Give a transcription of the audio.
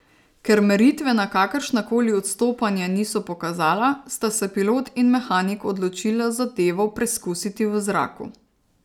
Ker meritve na kakršna koli odstopanja niso pokazala, sta se pilot in mehanik odločila zadevo preskusiti v zraku.